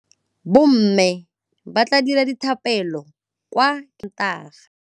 Bommê ba tla dira dithapêlô kwa kerekeng ka Sontaga.